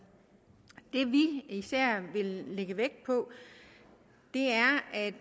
især lægger vægt på